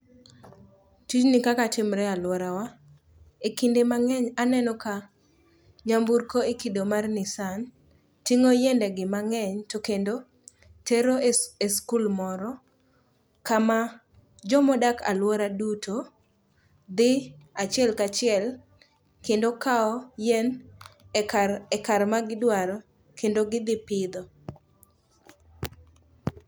Tijni kaka timre alworawa, e kinde mang'eny aneno ka nyamburko e kido mar nissan ting'o yiendegi mang'eny to kendo tero e skul moro kama jomodak alwora duto dhi achiel kachiel kendo kawo yien e kar magidwaro kendo gidhi pidho.